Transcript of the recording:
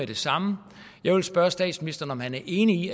det samme jeg vil spørge statsministeren om han er enig